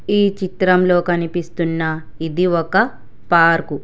ఈ చిత్రంలో కనిపిస్తున్న ఇది ఒక పార్క్ .